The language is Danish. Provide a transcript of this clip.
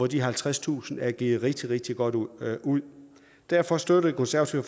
de halvtredstusind kroner er givet rigtig rigtig godt ud ud derfor støtter det konservative